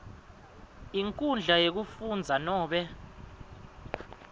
nkhundla yekufundza nobe